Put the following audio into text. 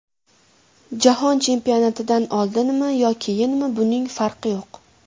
Jahon chempionatidan oldinmi yo keyinmi buning farqi yo‘q.